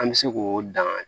An bɛ se k'o dan